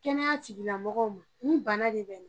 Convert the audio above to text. Kɛnɛya tigilamɔgɔw ma nin bana de be na.